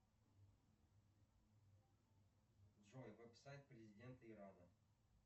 джой веб сайт президента ирана